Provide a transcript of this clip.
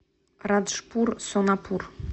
раджпур сонапур